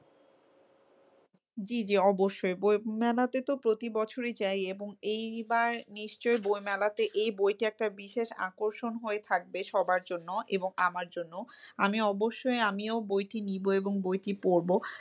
জি জি অবশ্যই বই মেলাতে তো প্রতিবছরই যাই এবং এইবার নিশ্চয়ই বইমেলাতে এই বইটি একটা বিশেষ আকর্ষণ হয়ে থাকবে সবার জন্য এবং আমার জন্যও। আমি অবশ্যই আমিও বইটি নিব এবং বইটি পড়বো।